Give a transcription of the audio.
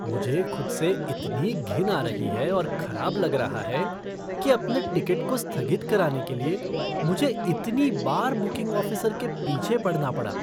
मुझे खुद से इतनी घिन आ रही है और खराब लगा रहा है कि अपने टिकट को स्थगित कराने के लिए, मुझे इतनी बार बुकिंग ऑफ़िसर के पीछे पड़ना पड़ा।